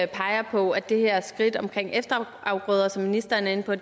peger på at det her skridt omkring efterafgrøder som ministeren er inde på